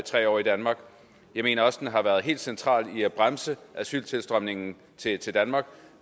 tre år i danmark jeg mener også at den har været helt central med hensyn til at bremse asyltilstrømningen til til danmark